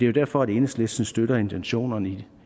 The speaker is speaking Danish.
jo derfor at enhedslisten støtter intentionerne